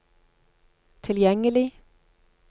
tilgjengelig